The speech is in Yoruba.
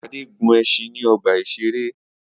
Ade gun ẹṣin ni ọgba iṣere